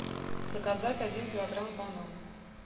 заказать один килограмм банан